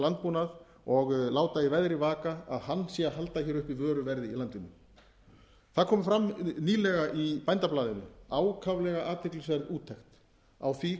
landbúnað og láta í veðri vaka að hann sé að halda hér uppi vöruverði í landinu það kom fram nýlega í bændablaðinu ákaflega athyglisverð úttekt á því